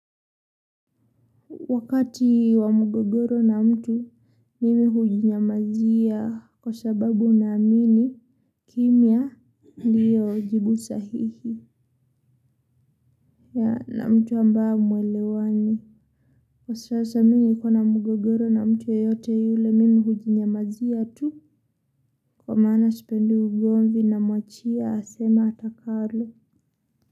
Wakati wa mgogoro na mtu mimi hujinyamazia kwa sababu naamini kimya ndio jibu sahihi na mtu ambae hamwelewani. Kwa sasa mimi nikiwa na mgogoro na mtu yoyote yule mimi hujinyamazia tu kwa maana sipendi ugomvi namwachia aseme atakalo. Kwa hivyo.